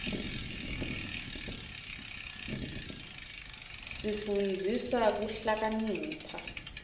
tsifundisa kuhlakanipha